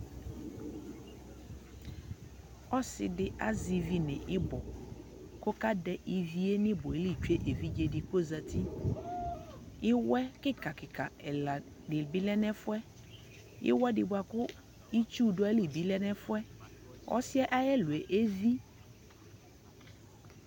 ɔsiidi azɛ ivi nʋibɔ kʋ ɔka dɛ iviɛ nʋ ibɔɛli twɛ ɛvidzɛ di kʋ ɔzati, iwɛ kikaa kikaa ɛla dibi lɛnʋ ɛƒʋɛ, iwɛ di bʋakʋ itsu lɛnʋ ali lɛnʋ ɛƒʋɛ kʋ ɔsiiɛ ayi ɛlʋɛ ɛvi